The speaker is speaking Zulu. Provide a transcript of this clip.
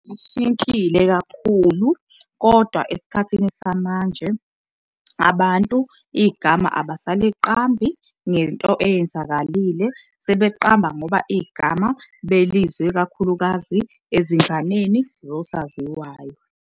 Ishintshile kakhulu, kodwa esikhathini samanje abantu igama abasaliqambi ngento eyenzakalile sebeqamba ngoba igama belizwe kakhulukazi ezinganeni zosaziwayo.